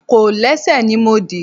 Kòlẹ́sẹ̀ ni mo dì.